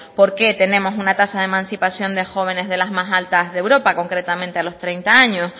por qué tenemos una tasa de emancipación de jóvenes de las más altas de europa concretamente a los treinta años